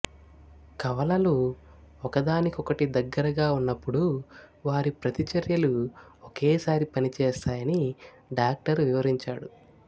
కవలలు ఒకదానికొకటి దగ్గరగా ఉన్నప్పుడు వారి ప్రతిచర్యలు ఒకేసారి పనిచేస్తాయని డాక్టర్ వివరించాడు